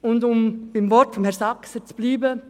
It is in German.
Um bei den Worten von Grossrat Saxer zu bleiben: